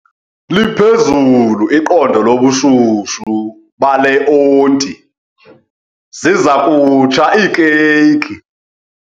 Liphezulu iqondo lobushushu bale onti, ziza kutsha iikeyiki.